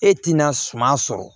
E tɛna suma sɔrɔ